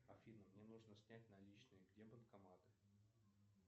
афина мне нужно снять наличные где банкомат